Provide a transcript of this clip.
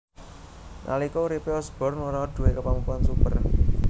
Nalika uripe Osborn ora duwé kemampuan super